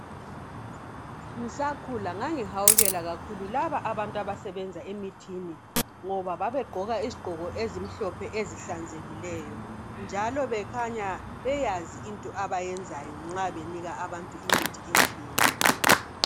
Ngisakhula ngangihawukela kakhulu laba abantu abasebenza emithini ngoba babegqoka izigqoko ezimhlophe ezihlanzekileyo njalo bekhanya beyazi into abayenzayo nxa benika abantu imithi etshiyeneyo.